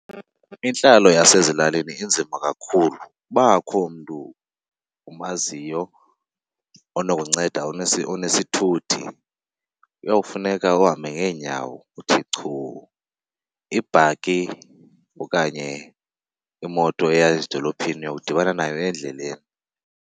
Intlalo yasezilalini inzima kakhulu. Uba akho mntu umaziyo onokunceda onesithuthi kuyawufuneka uhambe ngeenyawo uthi chu. Ibhaki okanye imoto eya ezidolophini uyawudibana nayo endleleni.